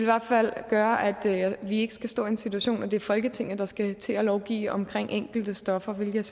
hvert fald gøre at vi ikke skal stå i den situation at det er folketinget der skal til at lovgive om enkelte stoffer hvilket jeg